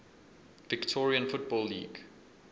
victorian football league